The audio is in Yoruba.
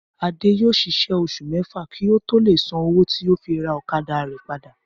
Adé yóò ṣiṣẹ́ oṣù mẹ́fà kí ó tó lè san owó tí ó fi ra ọ̀kadà rẹ̀ padà